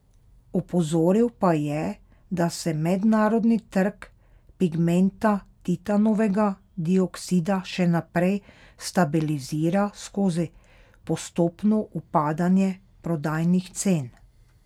Opozoril pa je, da se mednarodni trg pigmenta titanovega dioskida še naprej stabilizira skozi postopno upadanje prodajnih cen.